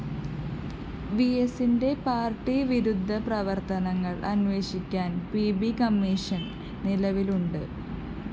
വിഎസിന്റെ പാര്‍ട്ടിവിരുദ്ധ പ്രവര്‍ത്തനങ്ങള്‍ അന്വേഷിക്കാന്‍ പി ബി കമ്മീഷൻ നിലവിലുണ്ട്